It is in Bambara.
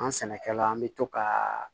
An sɛnɛkɛla an bɛ to ka